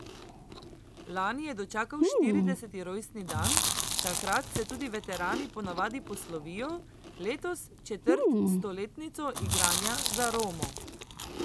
Lani je dočakal štirideseti rojstni dan, takrat se tudi veterani ponavadi poslovijo, letos četrt stoletnico igranja za Romo.